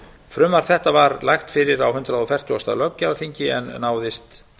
frumvarp þetta var lagt fyrir á hundrað fertugasta löggjafarþingi en náðist